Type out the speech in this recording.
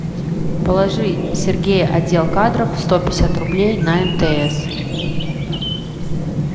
положи сергей отдел кадров сто пятьдесят рублей на мтс